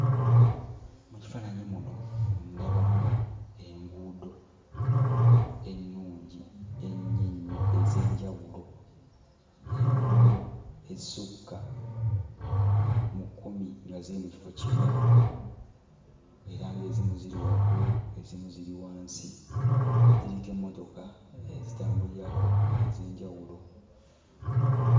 Mu kifaananyi muno ndabamu enguudo ennungi ennyo ennyo ez'enjawulo. Enguudo ezisukka mu kkumi nga ziri mu kifo kimu era ng'ezimu ziri waggulu, ezimu ziri wansi; ziriko emmotoka ezitambulirako ez'enjawulo.